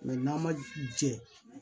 n'an ma jɛ